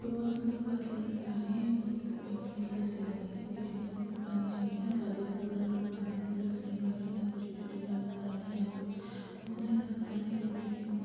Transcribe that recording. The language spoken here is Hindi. बहोत सुन्दर वादियां नज़र आ रही हैं बहोत ज्यादा पेंटिंग के जैसे लग रही है। बीच में थोड़ी सी पानी जमी है वादियों के कलर और पानी का कलर सेम लग रहा है। यहाँ पर यहाँ पे पौधे नज़र आ रहें हैं और ये देखके बहोत --